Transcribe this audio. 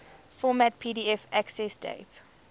format pdf accessdate